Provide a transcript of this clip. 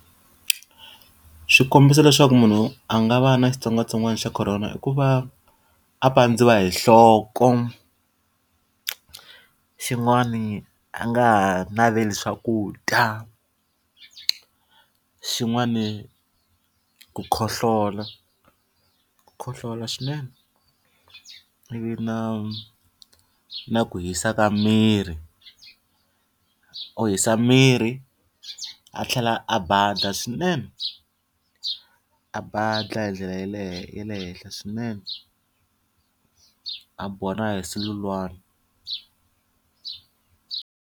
Swikombiso le swa ku munhu a nga va a ri na xitsongwatsongwana xa Corona i ku va a pandziwa hi nhloko, xin'wani a nga naveli swakudya, xin'wani ku khohlola ku khohlola swinene, ivi na na ku hisa ka miri. U hisa miri a tlhela a badha swinene, a badha hi ndlela ya le ya le henhla swinene. A biwa na hi sululwana.